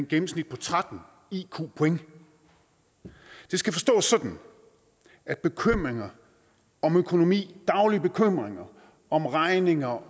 gennemsnit på tretten iq point det skal forstås sådan at bekymringer om økonomi daglige bekymringer om regninger og